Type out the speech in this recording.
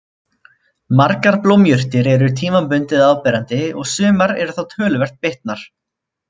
Margar blómjurtir eru tímabundið áberandi og sumar eru þá töluvert bitnar.